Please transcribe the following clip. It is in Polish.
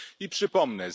I przypomnę.